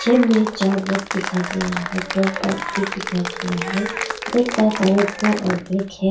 चार लोग दिखाई दे रहा है दो बाइक भी दिखाई दे रहा है बाइक का कलर ब्लू और ब्लैक है।